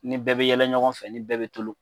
Ni bɛɛ bɛ yɛlɛ ɲɔgɔn fɛ ni bɛɛ bɛ tulon.